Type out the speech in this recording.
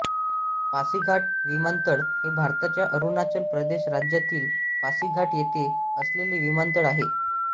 पासीघाट विमानतळ हे भारताच्या अरुणाचल प्रदेश राज्यातील पासीघाट येथे असलेले विमानतळ आहे